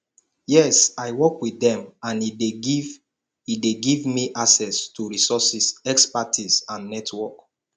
yes i work with dem and e dey give e dey give me access to resources expertise and network